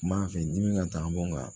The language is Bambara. N b'a fɛ dimi ka taa bɔ n kan